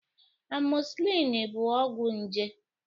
Amoxicillin bụ ọgwụ nje